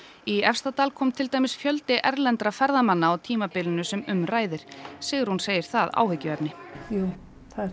í Efstadal kom til dæmis fjöldi erlendra ferðamanna á tímabilinu sem um ræðir Sigrún segir það áhyggjuefni jú það